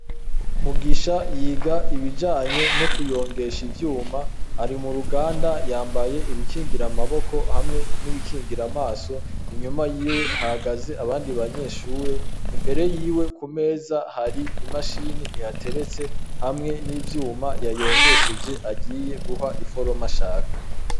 Mugisha yiga ibijanye no kuyongesha ivyuma ari mu ruganda yambaye ibikingira amaboko hamwe n'ibikingira amaso inyuma yiwe hahagaze abandi banyeshure imbere yiwe ku meza hari imashini ihateretse hamwe n'ivyuma yayongesheje ariye guha iforoma mashaka.